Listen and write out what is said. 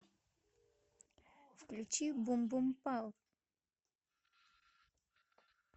включи бум бум пау